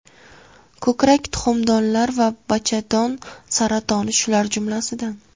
Ko‘krak, tuxumdonlar va bachadon saratoni shular jumlasidan.